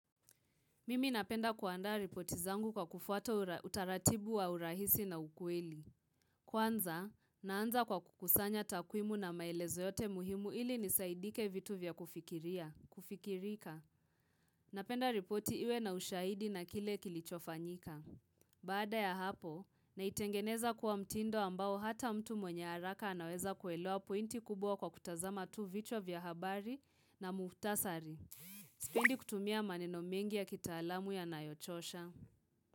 Mimi napenda kuandaa ripoti zangu kwa kufuata utaratibu wa urahisi na ukweli. Kwanza, naanza kwa kukusanya takwimu na maelezo yote muhimu ili nisaidike vitu vya kufikirika. Napenda ripoti iwe na ushahidi na kile kilichofanyika. Baada ya hapo, naitengeneza kuwa mtindo ambao hata mtu mwenye haraka anaweza kuelewa pointi kubwa kwa kutazama tu vichwa vya habari na muhtasari. Sipendi kutumia maneno mengi ya kitaalamu yanayochosha.